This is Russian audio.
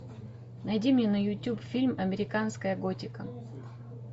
найди мне на ютуб фильм американская готика